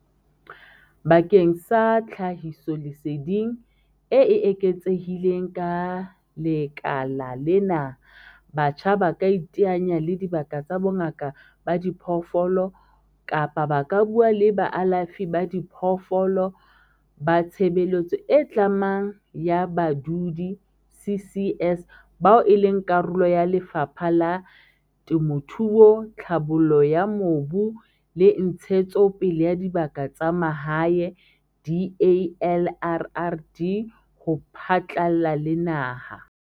Bakeng sa tlhahisoleseding e eketsehileng ka lekala lena, batjha ba ka iteanya le dibaka tsa bongaka ba diphoofolo kapa ba ka bua le baalafi ba diphoofolo ba tshebeletso e tlamang ya badudi, CCS, bao e leng karolo ya Lefapha la Temothuo, Tlhabollo ya Mobu le Ntshetsopele ya Dibaka tsa Mahae, DALRRD, ho phatlalla le naha.